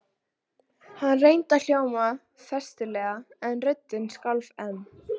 Hann reyndi að hljóma festulega en röddin skalf enn.